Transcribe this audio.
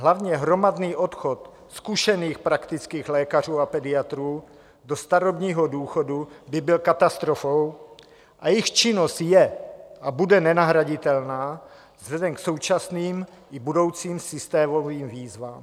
Hlavně hromadný odchod zkušených praktických lékařů a pediatrů do starobního důchodu by byl katastrofou a jejich činnost je a bude nenahraditelná vzhledem k současným i budoucím systémovým výzvám.